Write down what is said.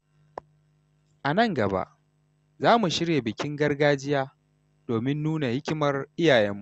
A nan gaba, za mu shirya bikin gargajiya domin nuna hikimar iyayenmu.